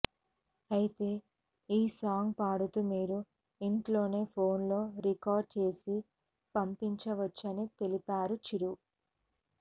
అయితే ఈ సాంగ్ పాడుతూ మీరు ఇంట్లోనే ఫోన్ లో రికార్డ్ చేసి పంపించవచ్చని తెలిపారు చిరు